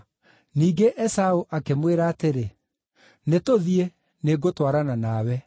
Ningĩ Esaũ akĩmwĩra atĩrĩ, “Nĩtũthiĩ; nĩngũtwarana nawe.”